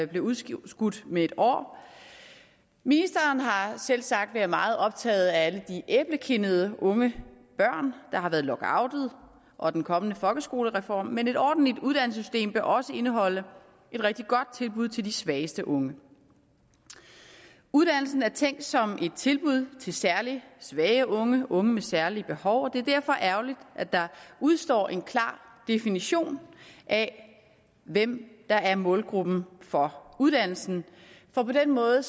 blev udskudt udskudt med et år ministeren har selvsagt været meget optaget af alle de æblekindede unge børn der har været lockoutet og af den kommende folkeskolereform men et ordentligt uddannelsessystem bør også indeholde et rigtig godt tilbud til de svageste unge uddannelsen er tænkt som et tilbud til særlig svage unge unge med særlige behov og det er derfor ærgerligt at der udestår en klar definition af hvem der er målgruppen for uddannelsen for på den måde